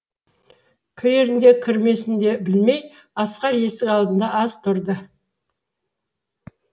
кірерін де кірмесін де білмей асқар есік алдында аз тұрды